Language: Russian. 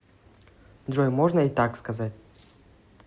джой можно и так сказать